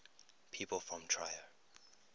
people from trier